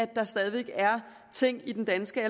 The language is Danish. der stadig er ting i den danske